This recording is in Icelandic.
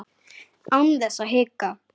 Án þess að hika.